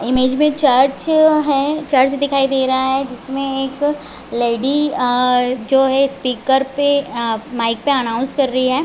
Image में church है church दिखाई दे रहा है जिसमें एक लैडी अ जो है इस्पीकर पे माइक पे अनाउन्स कर रही है।